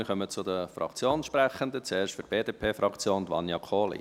Wir kommen zu den Fraktionssprechenden, zuerst für die BDP-Fraktion Vania Kohli.